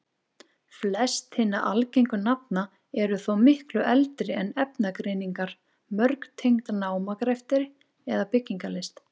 Flest hinna algengu nafna eru þó miklu eldri en efnagreiningar, mörg tengd námagreftri eða byggingarlist.